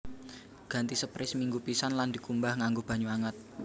Ganti sprei seminggu pisan lan dikumbah nganggo banyu anget